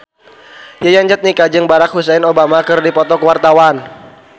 Yayan Jatnika jeung Barack Hussein Obama keur dipoto ku wartawan